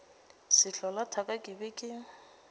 sehlola thaka ke be ke